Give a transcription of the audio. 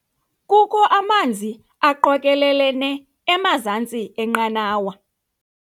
Kukho amanzi aqokelelene emazantsi enqanawa.